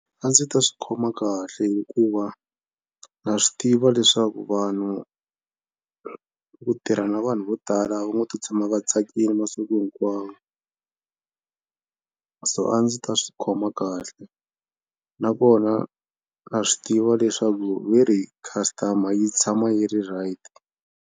A ndzi ta swi khoma kahle hikuva na swi tiva leswaku vanhu ku tirha na vanhu vo tala a va ngo to tshama va tsakile masiku hinkwawo so a ndzi ta swi khoma kahle nakona na swi tiva leswaku ve ri customer yi tshama yi ri right.